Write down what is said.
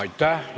Aitäh!